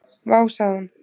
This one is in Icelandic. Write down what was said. """Vá, sagði hún."""